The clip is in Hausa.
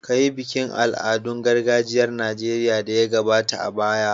Kayi bikin al'adun gargajiyar Nijeriya da ya gabata a baya.